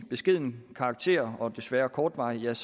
beskeden af karakter og desværre kortvarigt